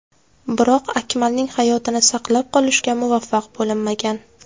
Biroq Akmalning hayotini saqlab qolishga muvaffaq bo‘linmagan.